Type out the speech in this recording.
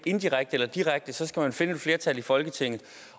indirekte eller direkte skal man finde et flertal i folketinget